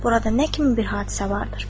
Burada nə kimi bir hadisə vardır?